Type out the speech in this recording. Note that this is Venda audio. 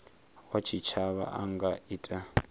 wa tshitshavha a nga ita